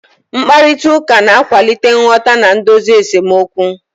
Mkparịta ụka na-akwalite nghọta na idozi esemokwu.